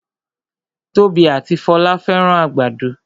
Tobi ati Folá fẹ́ràn àgbàdo